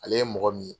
Ale ye mɔgɔ min ye